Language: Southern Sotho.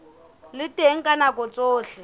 le teng ka nako tsohle